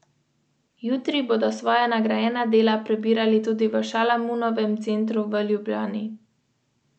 Neverjetnih štirinajst dni je že vzdržalo lepo vreme.